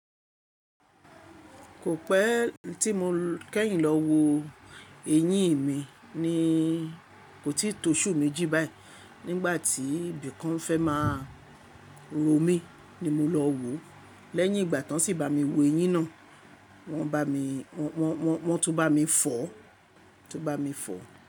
Kò pẹ tí mo kẹ́yìn lọ wo eyín mi ní, kò tí to oṣù méjì báyìí nígbà tí ibìkan fẹ́ máa ró mi ni mo lọ wòó. Lẹ́yìn ìgbà tán si bá mi wo eyín náà, wọ́n bá mi, wọ́n, wọ́n, wọ́n tu bá mi fọ̀, tu bá mi fọ̀